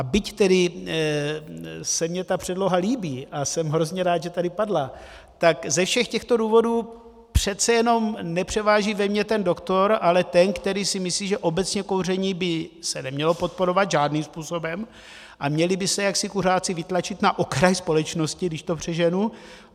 A byť tedy se mně ta předloha líbí a jsem hrozně rád, že tady padla, tak ze všech těchto důvodů přece jenom nepřeváží ve mně ten doktor, ale ten, který si myslí, že obecně kouření by se nemělo podporovat žádným způsobem a měli by se jaksi kuřáci vytlačit na okraj společnosti, když to přeženu.